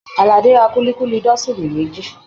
Aládé ra kulikuli dọsini méjì